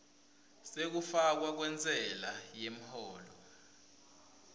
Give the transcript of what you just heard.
sekufakwa kwentsela yemholo